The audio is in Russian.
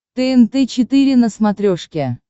тнт четыре на смотрешке